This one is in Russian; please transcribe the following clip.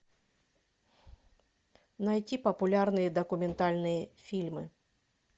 найти популярные документальные фильмы